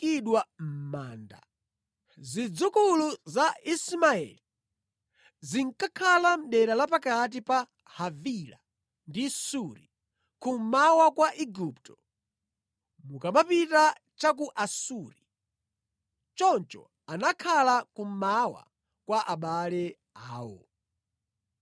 Zidzukulu za Ismaeli zinkakhala mʼdera la pakati pa Havila ndi Suri, kummwera kwa Igupto, mukamapita cha ku Asuri. Choncho anakhala kummawa kwa abale awo.